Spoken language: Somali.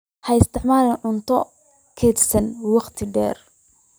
Ha isticmaalin cunto kaydsantay wakhti dheer.